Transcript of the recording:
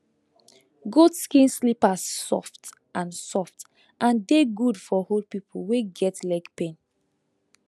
goat skin slippers soft and soft and dey good for old people wey get leg pain